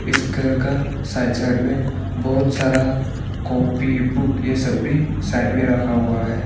इस घर का साइड साइड में बहुत सारा कॉपी बुक यह सभी साइड में रखा हुआ है।